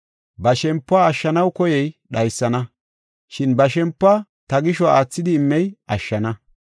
Ba shempuwa ashshanaw koyey dhaysana, shin ba shempuwa ta gisho aathidi immey ashshana.